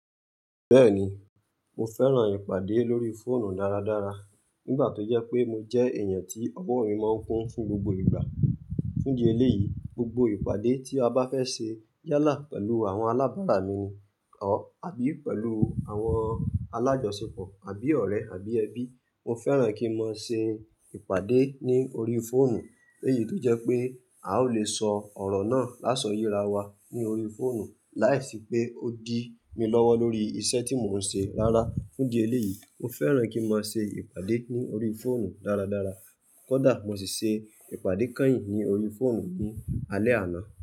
Bẹ́ẹ̀ni, mo fẹ́ran ìpàdé lórí fóònù dáradára. Nígbà tó jẹ́ pé mo jẹ́ èèyàn tí ọ̀wọ́ mi máa ń kún fún gbogbo ìgbà. Fún di eléyìí, gbogbo ìpàdé tí a bá fẹ́ se yálà pẹ̀lú àwọn alábàárà mi ni, or àbí pẹ̀lú àwọn alájọsepọ̀ àbí ọ̀rẹ́ àbí ẹbí, mo fẹ́ran kí n mọ ṣe ìpàdé ní orí fóònù. Léyìí tó jẹ́ pé a ó lè sọ ọ̀rọ̀ náà lásọ yera wa ní orí fóònù láìsí pé ó dì mi lọ́wọ́ lórí isẹ́ tí mò ń se. Rárá, fún idi eléyìí, mo fẹ́ran kí n máa se ìpàdé ní orí fóònù dáradára. Kódà mo sì se ìpàdé kányìn ní orí fóònù ní alẹ́ àná.